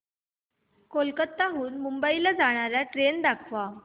कोलकाता हून मुंबई ला जाणार्या ट्रेन दाखवा